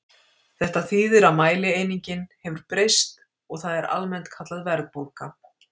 þetta þýðir að mælieiningin hefur breyst og það er almennt kallað verðbólga